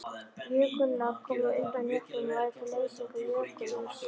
Jökulár koma undan jöklum og verða til við leysingu jökulíss.